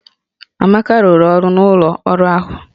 Amaka rụrụ ọrụ n'ụlọ ọrụ ahụ